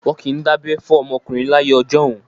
Wọ́n kì í dábẹ́ fún ọmọkùnrin láyé ọjọ́un.